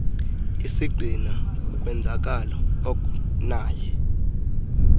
isigxina kukwenzakala oknaye